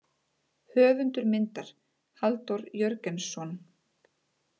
Höfundur myndar Halldór Jörgensson.